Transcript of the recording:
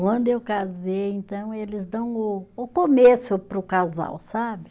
Quando eu casei, então, eles dão o o começo para o casal, sabe?